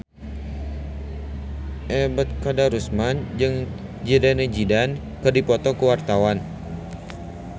Ebet Kadarusman jeung Zidane Zidane keur dipoto ku wartawan